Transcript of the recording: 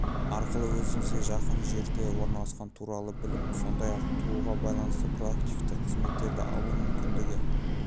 арқылы өзіңізге жақын жерде орналасқан туралы біліп сондай-ақ бала тууға байланысты проактивті қызметтерді алу мүмкіндігі